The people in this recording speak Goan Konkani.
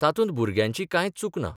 तातूंत भुरग्यांची कांयच चूक ना.